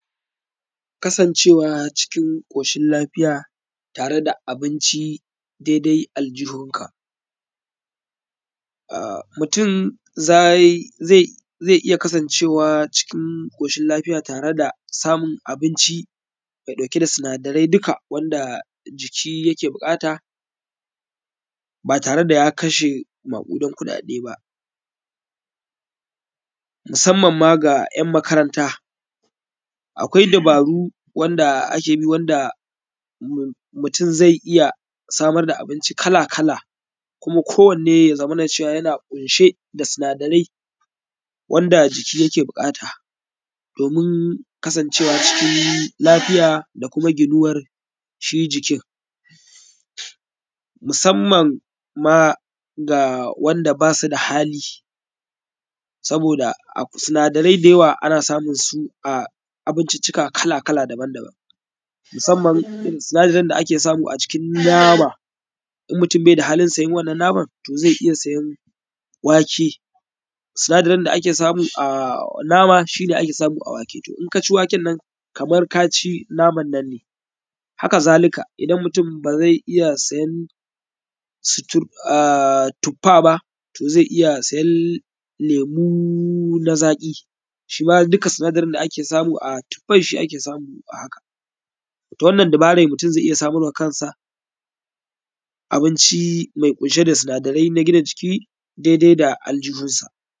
Kasancewa cikin ƙoshin lafiya tare da abinci dedai aljihunka. A; mutum zai ze; ze iya kasancewa cikin ƙoshin lafiya tare da samun abinci mai ɗauke da sinadari duka wanda jiki yake buƙata ba tare da ya kashe maƙudan kuɗaɗe ba, musamman ma ga ‘yan makaranta. Akwai dabaru wanda ake bi wanda mu; mutum zai iya samar da abinci kala-kala kuma kowanne ya zamana yana ƙunshe da sinadarai wanda jiki yake buƙata domin kasancewa cikin lafiya da kuma ginuwar shi jikin. Musamman ma ga wanda ba su da hali, saboda a sinadarai da yawa ana samun su a abinciccika kala-kala daban-daban musamman irin sinadarin da ake samu a jikin nama. In mutum bai da haalin sayan wannan naman, to ze iya sayan wake, sinadarin da ake samu a nama, shi ne ake samu a wake. To, in ka ci waken nan, kamar ka ci naman nan ne. Haka zalika, idan mutum ba zai iya sayan sutur; a; tuffa ba, to zai iya sayan lemu na zaƙi shi ma duka sinadarin da ake samu a tuffai, shi ake samu a haka. Ta wannan dabarai, mutum zai iya samar wa kansa abinci mai ƙunshe da sinadarai na gina jiki dede da aljiihunsa.